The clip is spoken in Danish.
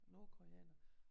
Nordkoreanere